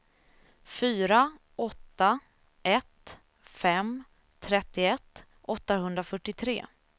fyra åtta ett fem trettioett åttahundrafyrtiotre